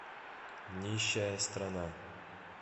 нищая страна